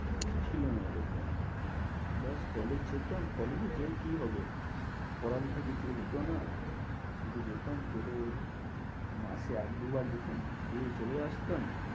কিছু ছিলনা এরকম ব্যস college যেতাম college এ গিয়ে কি হবে? পড়ালেখা কিছু হতো না, শুধু যেতাম করে মাসে এক দুবার যেতাম গিয়েই চলে আসতাম।